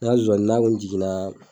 Ŋa zoani n'a kun jiginnaa